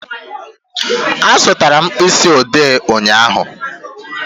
Azụtara m mkpịsị odee ụnyaahụ